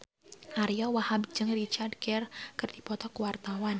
Ariyo Wahab jeung Richard Gere keur dipoto ku wartawan